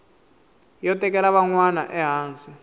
yo tekela van wana ehansi